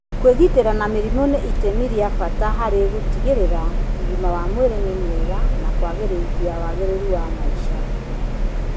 Kwĩgitĩra na mĩrimũ nĩ itemi rĩa bata harĩ gũtigĩrĩra ũgima wa mwĩrĩ mwega na kwagĩrithia wagĩrĩru wa maica.